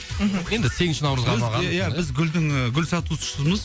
мхм енді сегізінші наурызға арналған біз ия біз гүлдің ыыы гүл сатушысымыз